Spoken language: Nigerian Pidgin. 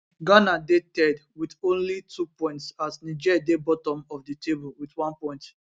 ghana dey third wit only 2 points as niger dey bottom of di table wit one point